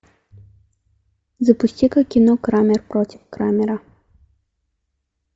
запусти ка кино крамер против крамера